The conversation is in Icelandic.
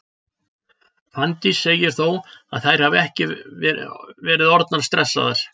Fanndís segir þó að þær hafi ekki verið orðnar stressaðar.